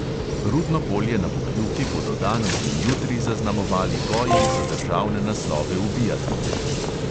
- rudno polje na pokljuki bodo danes in jutri zaznamovali boji za državne naslove v biatlonu.